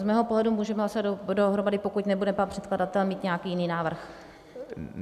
Z mého pohledu můžeme hlasovat dohromady, pokud nebude pan předkladatel mít nějaký jiný návrh.